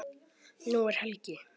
Nú er helgi.